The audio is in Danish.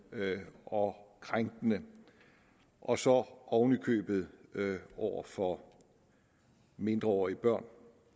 og krænkende og så oven i købet over for mindreårige børn